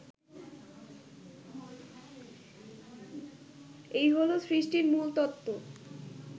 এই হলো সৃষ্টির মূলতত্ত্ব